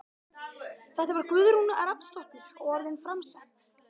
Þetta var Guðrún Rafnsdóttir og orðin framsett.